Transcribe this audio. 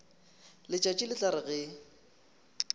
letšatši le tla re ge